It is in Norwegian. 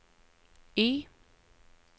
Y